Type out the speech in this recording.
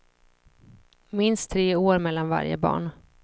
Minst tre år mellan varje barn.